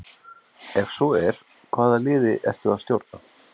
Ef svo er, hvaða liði ertu að stjórna?